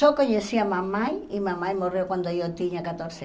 Só conhecia mamãe e mamãe morreu quando eu tinha quatorze